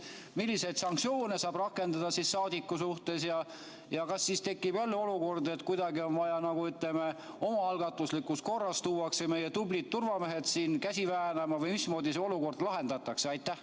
Milliseid sanktsioone saab rakendada saadiku suhtes ja kas siis tekib olukord, et kuidagi, ütleme, omaalgatuslikus korras tuuakse meie tublid turvamehed siia käsi väänama, või mismoodi see olukord lahendatakse?